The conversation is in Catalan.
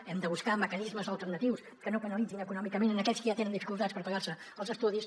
hem de buscar mecanismes alternatius que no penalitzin econòmicament aquells que ja tenen dificultats per pagar se els estudis